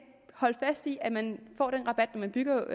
holde fast i at man får den rabat når man bygger